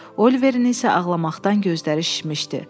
Oliverin isə ağlamaqdan gözləri şişmişdi.